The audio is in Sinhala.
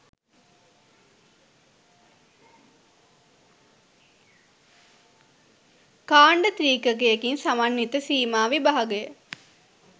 කාණ්ඩ ත්‍රිකයකින් සමන්විත සීමා විභාගය